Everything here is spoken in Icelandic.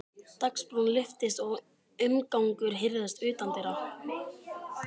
Dagsbrún lyftist og umgangur heyrðist utandyra.